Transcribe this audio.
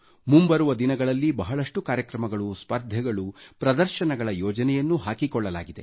ಮುಂಬರುವ ದಿನಗಳಲ್ಲಿ ಬಹಳಷ್ಟು ಕಾರ್ಯಕ್ರಮಗಳು ಸ್ಪರ್ಧೆಗಳು ಪ್ರದರ್ಶನಗಳ ಯೋಜನೆಯನ್ನೂ ಹಾಕಿಕೊಳ್ಳಲಾಗಿದೆ